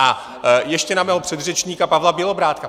A ještě na mého předřečníka Pavla Bělobrádka.